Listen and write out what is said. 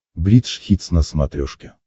бридж хитс на смотрешке